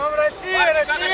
Haydı, Rusiya!